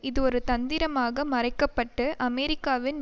இது ஒரு தந்திரமாக மறைக்க பட்டு அமெரிக்காவின்